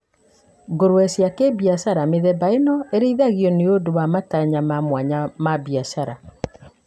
Ngũrũwe cia kĩbiashara: Mĩthemba ĩno ĩrĩithagio nĩ ũndũ wa matanya ma mwanya ma biashara.